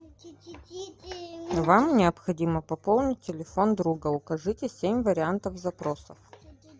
вам необходимо пополнить телефон друга укажите семь вариантов запроса